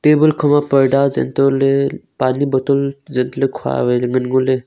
table kho ma parda seh toh ley pani bottle zet ley khua ngan ngo ley.